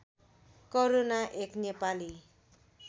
करूणा एक नेपाली